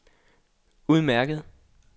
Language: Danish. udmærket